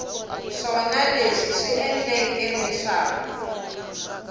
swona leswi swi endleke leswaku